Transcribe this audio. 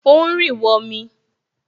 O ń rì wọmi